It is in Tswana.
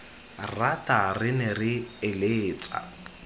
rata re ne re eletsa